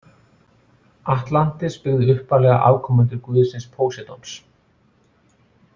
Atlantis byggðu upphaflega afkomendur guðsins Póseidons.